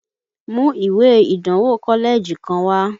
Mu ìwé ìdánwò kọ́lẹ́ẹ̀jì kan wá!